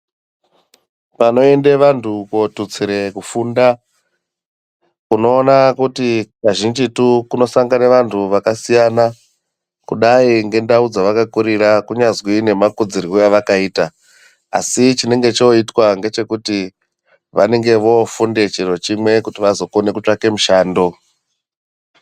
Panoende vantu kotutsire kufunda unoona kuti kazhinjitu kunosangane vantu vakasiyana kudai ngendau dzavakakurira kunyazwi nemakudzirwe avakaita asi chinenge choitwa ngechekuti vanenge vofunde chiro chimwe kuti vazokone kutsvake mushando.